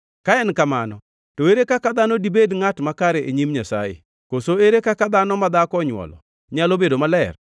Ka en kamano, to ere kaka dhano dibed ngʼat makare e nyim Nyasaye? Koso ere kaka dhano ma dhako onywolo nyalo bedo maler?